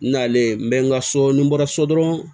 N nalen n bɛ n ka so ni n bɔra so dɔrɔn